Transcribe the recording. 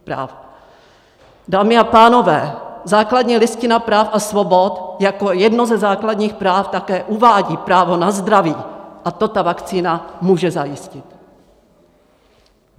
Dámy a pánové, základní listina práv a svobod jako jedno ze základních práv také uvádí právo na zdraví a to ta vakcína může zajistit!